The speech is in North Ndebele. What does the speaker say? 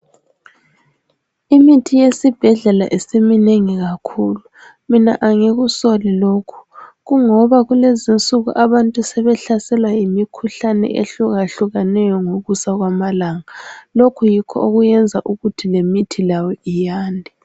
Imithi yesibhedlela isiminengi kakhulu mina angikusoli lokhu kungoba kulezi insuku abantu sebehlaselwa yimikhuhlane ehlukehlukeneyo ngokusa kwamalanga lokhu yikho okwenza ukuthi lemithi layo iyande.